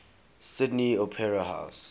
sydney opera house